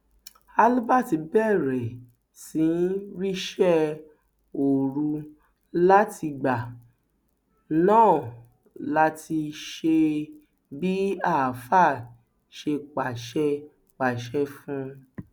albert bẹrẹ sí í ríṣẹ òru látìgbà náà láti ṣe bí àáfàá ṣe pàṣẹ pàṣẹ fún un